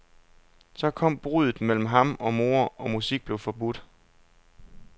Så kom bruddet mellem ham og mor, og musik blev forbudt.